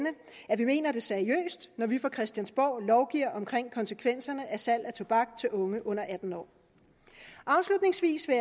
at vi mener det seriøst når vi fra christiansborg lovgiver omkring konsekvenserne af salg af tobak til unge under atten år afslutningsvis vil